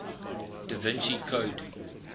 da vinci code